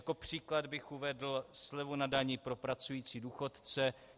Jako příklad bych uvedl slevu na dani pro pracující důchodce.